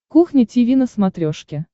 кухня тиви на смотрешке